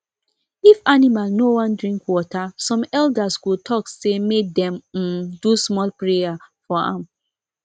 if animal no wan drink water some elders go talk say make dem um do small prayer for am